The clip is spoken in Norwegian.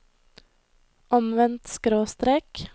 omvendt skråstrek